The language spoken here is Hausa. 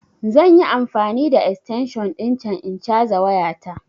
Zan yi amfani da extension ɗin can in caza waya ta